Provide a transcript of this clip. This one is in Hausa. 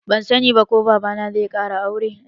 Ban sani ba ko baba na zai ƙara aure